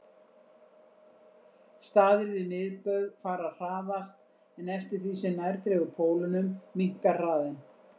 Staðir við miðbaug fara hraðast en eftir því sem nær dregur pólunum minnkar hraðinn.